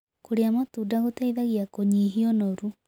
Kũrĩa matũnda gũteĩthagĩa kũnyĩhĩa ũnorũ